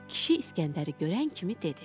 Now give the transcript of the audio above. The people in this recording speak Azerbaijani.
Kişi İsgəndəri görən kimi dedi: